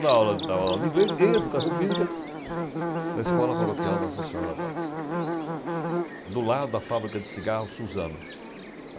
Da aula dava aula de inglês e Educação Física na Escola Paroquial da Associação da Paz, do lado da fábrica de cigarro Suzano.